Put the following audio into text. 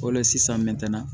O le la sisan metɔn na